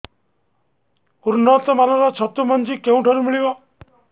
ଉନ୍ନତ ମାନର ଛତୁ ମଞ୍ଜି କେଉଁ ଠାରୁ ମିଳିବ